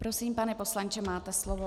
Prosím, pane poslanče, máte slovo.